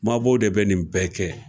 Mabɔw de bɛ nin bɛɛ kɛ